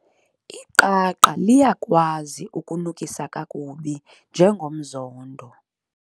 Iqaqa liyakwazi ukunukisa kakubi njengomzondo.